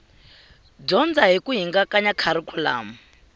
dyondza hi ku hingakanya kharikhulamu